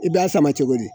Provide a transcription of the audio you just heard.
I b'a sama cogo di